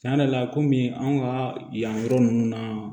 Tiɲɛ yɛrɛ la komi anw ka yan yɔrɔ ninnu na